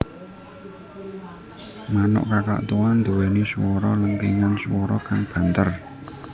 Manuk kakatua nduwéni swara lengkingan swara kang banter